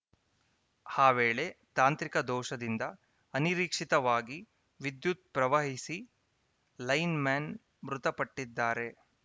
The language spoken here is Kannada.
ಆ ವೇಳೆ ತಾಂತ್ರಿಕ ದೋಷದಿಂದ ಅನಿರೀಕ್ಷಿತವಾಗಿ ವಿದ್ಯುತ್‌ ಪ್ರವಹಿಸಿ ಲೈನ್‌ಮನ್‌ ಮೃತಪಟ್ಟಿದ್ದಾರೆ